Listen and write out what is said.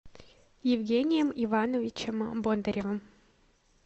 евгением ивановичем бондаревым